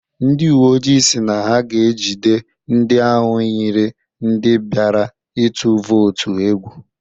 Ndị uwe ojii si na ha ga-ejide ndị ahụ yiri ndị biara ịtụ vootu egwu.